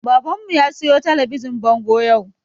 Baban mu ya siyo talabijin bango yau